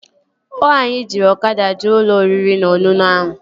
Ọ anyị jiri ọkada jee ụlọ oriri na ọṅụṅụ ahụ?